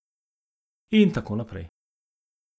In tako naprej.